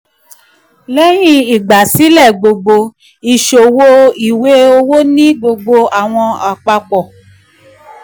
lẹ́hìn ìgbà sílẹ̀ gbogbo ìṣòwò ìwé owó ní gbogbo ọ̀wọ́n àpapọ̀.